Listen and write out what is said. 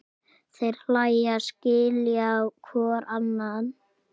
Þeir hlæja, skilja hvor annan.